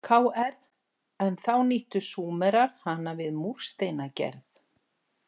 Kr, en þá nýttu Súmerar hana við múrsteinagerð.